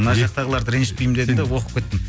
мына жақтығаларды ренжітпейін дедім де оқып кеттім